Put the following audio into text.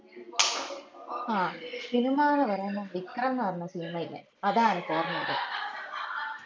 ആഹ് സിനിമാന്ന് പറേമ്പോ വിക്രം ന്ന് പറേന്ന സിനിമേല്ലേ അതാ അനക്ക് ഓർമ വേർന്ന